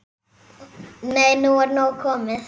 Nei, nú er nóg komið!